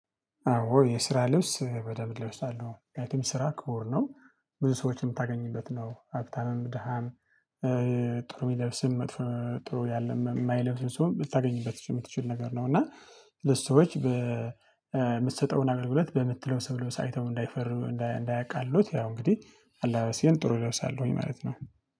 አዎ የስራ ልብስ በደንብ እለብሳለሁ ምክንያቱም ስራ ክቡር ነው። ብዙ ሰዎችን የምታገኝበት ነው ሀብታምም ደሃም። ጥሩ የሚለብስም ጥሩ የማይለብስም ሰው የምታገኝበት የምትችል ነገር ነው። እና ለሰዎች በምትሰጠውን አገልግሎት በምትለሰብሰው ልብስ አይተው እንዳይፈሩ እንዳያቃልሉት ያው እንግዲህ አላባበሴን ጥሩ እለብሳለሁኝ ማለት ነው